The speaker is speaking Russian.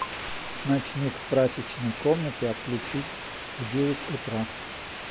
ночник в прачечной комнате отключить в девять утра